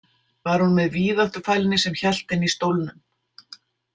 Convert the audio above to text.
Var hún með víðáttufælni sem hélt henni í stólnum?